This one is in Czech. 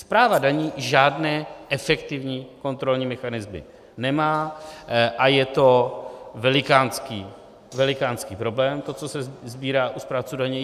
Správa daní žádné efektivní kontrolní mechanismy nemá a je to velikánský problém, to, co se sbírá u správců daní.